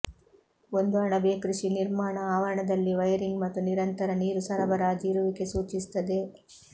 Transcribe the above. ಒಂದು ಅಣಬೆ ಕೃಷಿ ನಿರ್ಮಾಣ ಆವರಣದಲ್ಲಿ ವೈರಿಂಗ್ ಮತ್ತು ನಿರಂತರ ನೀರು ಸರಬರಾಜು ಇರುವಿಕೆ ಸೂಚಿಸುತ್ತದೆ